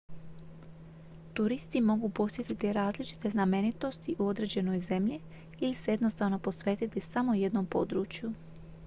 turisti mogu posjetiti različite znamenitosti u određenoj zemlji ili se jednostavno posvetiti samo jednom području